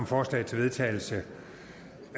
forslag til vedtagelse af